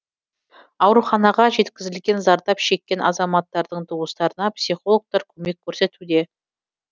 ауруханаға жеткізілген зардап шеккен азаматтардың туыстарына психологтар көмек көрсетуде